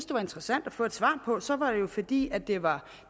det var interessant at få svar på det så var det jo fordi det var